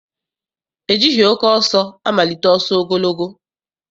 E jighị oke ọsọ amalite ọsọ ogologo.